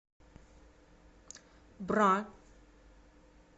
бра